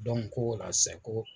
ko o la, sɛ ko